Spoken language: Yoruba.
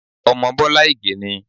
Ọmọ Bọ́lá Ìgè ni.